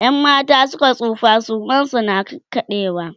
in mata Suka tsufa suman su na ƙaƙaɗewa